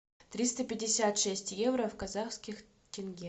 триста пятьдесят шесть евро в казахских тенге